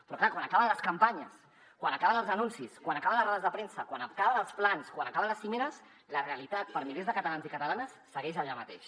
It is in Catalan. però clar quan acaben les campanyes quan acaben els anuncis quan acaben les rodes de premsa quan acaben els plans quan acaben les cimeres la realitat per milers de catalans i catalanes segueix allà mateix